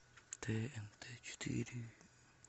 тнт четыре